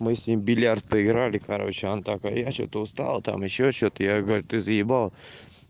мы с ним в бильярд поиграли короче а он такой я что-то устал там ещё что-то я говорю ты заебал